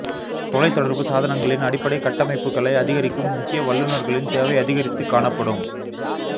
தொலை தொடர்பு சாதனங்களின் அடிப்படை கட்டமைப்புகளை அதிகரிக்கும் முக்கிய வல்லுநர்களின் தேவை அதிகரித்து காணப்படும்